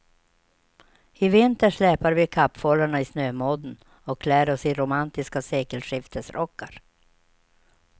I vinter släpar vi kappfållarna i snömodden och klär oss i romantiska sekelskiftesrockar.